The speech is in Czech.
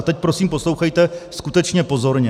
A teď prosím poslouchejte skutečně pozorně.